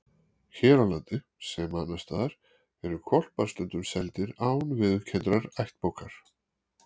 Hér á landi, sem annars staðar, eru hvolpar stundum seldir án viðurkenndrar ættbókar.